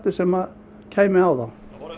sem kæmi á þá